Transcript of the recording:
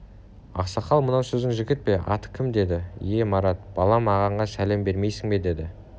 ақсақал мынау сіздің жігіт пе аты кім деді ие марат балам ағаңа сәлем бермейсің бе деді